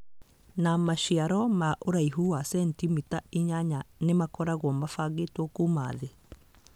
Na maciaro ma ũraihu wa sentimita inyanya nĩ makoragwo mabangĩtwo kuuma thĩ.